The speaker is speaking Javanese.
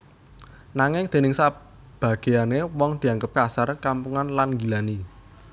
Nanging déning sabagéyané wong dianggep kasar kampungan lan nggilani